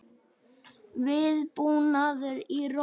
Viðbúnaður í Róm